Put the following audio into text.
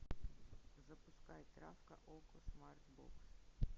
запускай травка окко смарт бокс